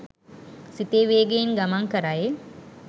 සිතේ වේගයෙන් ගමන් කරයි.